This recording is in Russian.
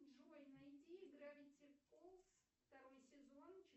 джой найди гравити фолз второй сезон